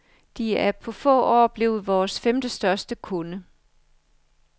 De er på få år blevet vores femtestørste kunde.